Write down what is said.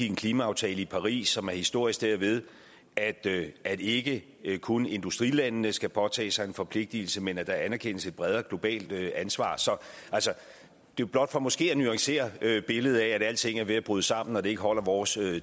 en klimaaftale i paris som er historisk derved at derved at ikke ikke kun industrilandene skal påtage sig en forpligtelse men at der erkendes et bredere globalt ansvar så det er blot for måske at nuancere billedet af at alting er ved at bryde sammen og det ikke holder vores